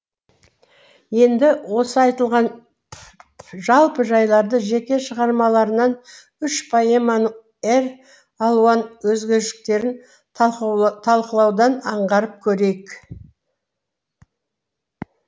енді осы айтылған жалпы жайларды жеке шығармаларынан үш поэманың әр алуан өзгешеліктерін талқылаудан аңғарып көрейік